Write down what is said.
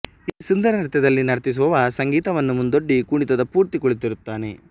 ಈ ಸುಂದರನೃತ್ಯದಲ್ಲಿ ನರ್ತಿಸುವವ ಸಂಗೀತವನ್ನು ಮುಂದೊಡ್ಡಿ ಕುಣಿತದ ಪೂರ್ತಿ ಕುಳಿತಿರುತ್ತಾನೆ